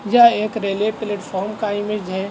यह एक railway platform का इमेज है।